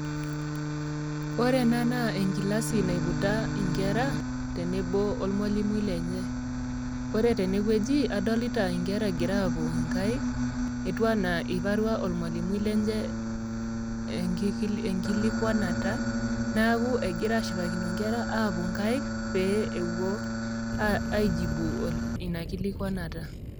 Ore ena naa enkilasi naiputa inkera tenebo olmwalimui lenye, ore tene wueji adolita inkere egira aapu inkaik, etiu anaa eiparua olmwalimui lenye enkilikwanata neaku egira ashipakino inkera aapu inkaik pee epuo aijibu Ina kilikwanata.